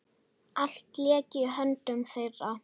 Allt lék í höndum þeirra.